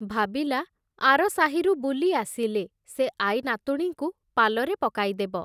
ଭାବିଲା ଆର ସାହିରୁ ବୁଲି ଆସିଲେ, ସେ ଆଈନାତୁଣୀଙ୍କୁ ପାଲରେ ପକାଇଦେବ ।